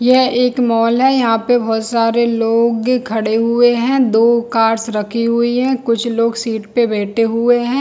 यह एक मॉल है यहाँ पे बहोत सारे लोग खड़े हुए है दो कार्स रखी हुई है कुछ लोग सीट पे बैठे हुए है।